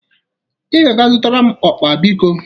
Ị ga-aga zụtara m ụkpa, biko.